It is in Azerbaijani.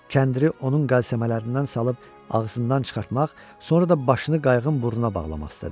Kəndiri onun qalsəmələrindən salıb ağzından çıxartmaq, sonra da başını qayığın burnuna bağlamaq istədi.